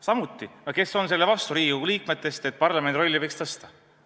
Jälle, kes on Riigikogu liikmetest selle vastu, et parlamendi rolli võiks suurendada?